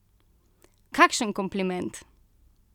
Kakšen kompliment!